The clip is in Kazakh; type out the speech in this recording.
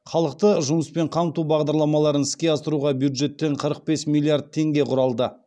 халықты жұмыспен қамту бағдарламаларын іске асыруға бюджеттен қырық бес миллиард теңге құралды